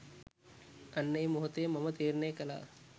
අන්න ඒ මොහොතේ මම තීරණය කළා